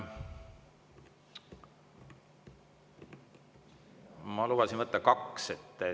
Ma lubasin võtta kaks.